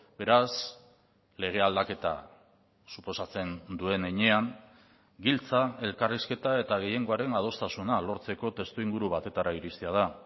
beraz lege aldaketa suposatzen duen heinean giltza elkarrizketa eta gehiengoaren adostasuna lortzeko testuinguru batetara iristea da